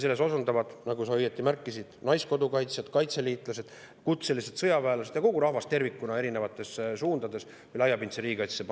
Selles osalevad, nagu sa õieti märkisid, naiskodukaitsjad, kaitseliitlased, kutselised sõjaväelased ja kogu rahvas tervikuna, panustades laiapindsesse riigikaitsesse.